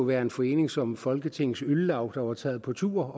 være en forening som folketingets øl laug der var taget på tur